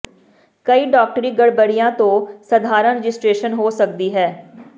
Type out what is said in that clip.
ਕਈ ਡਾਕਟਰੀ ਗੜਬੜੀਆਂ ਤੋਂ ਸਧਾਰਣ ਰਜਿਸਟਰੇਸ਼ਨ ਹੋ ਸਕਦੀ ਹੈ